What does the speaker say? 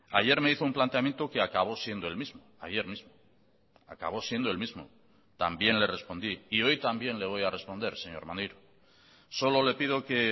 ayer me hizo un planteamiento que acabó siendo el mismo ayer mismo acabo siendo el mismo también le respondí y hoy también le voy a responder señor maneiro solo le pido que